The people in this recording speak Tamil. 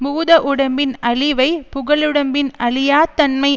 பூத உடம்பின் அழிவைப் புகழுடம்பின் அழியாத் தன்மை